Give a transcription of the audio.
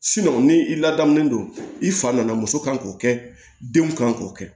ni i ladamunen don i fa nana muso kan k'o kɛ denw kan k'o kɛ